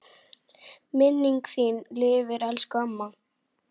Minning þín lifir elsku amma.